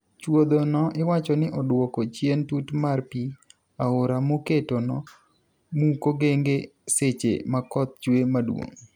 Chuodho no iwacho ni oduoko chien tut mar pii aora moketo no muko genge seche makoth chwe maduong'.